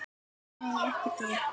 Nei, ekki þú.